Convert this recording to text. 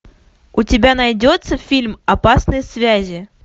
у тебя найдется фильм опасные связи